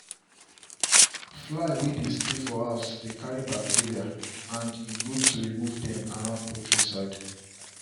fly way dey stay for house dey carry bacteria and e good to remove dem around poultry side